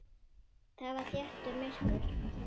Þar var þétt myrkur.